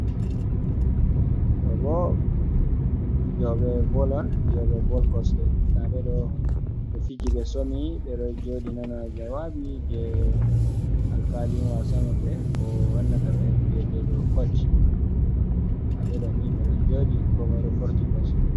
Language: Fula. Ɗo bo fijoɓe bol on. Fiyoɓe bol kosɗe, nda ɓe ɗo ɓe fiji, ɓe somi, ɓe ɗo jooɗi nana jawabi jei alkalin wasa maɓɓe ko wannata ɓe mbiyete koc. Nda ɓe ɗo ni be ɗon joodi, komoi ɗo forti kosɗe.